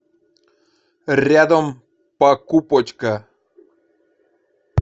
рядом покупочка